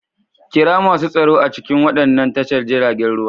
Kira masu tsaro a cikin waɗannan tashar jiragen ruwa.